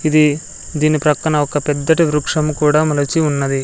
ఇది దీని ప్రక్కన ఒక పెద్దటి వృక్షం కూడా మొలచి ఉన్నది.